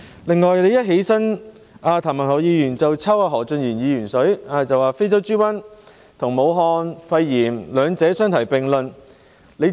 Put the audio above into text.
另外，譚議員一站起來便向何俊賢議員"抽水"，將非洲豬瘟和"武漢肺炎"兩者相提並論。